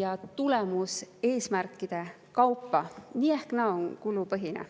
ja tulemuseesmärkide kaupa, nii või naa on see kulupõhine.